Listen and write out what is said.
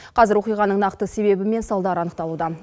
қазір оқиғаның нақты себебі мен салдары анықталуда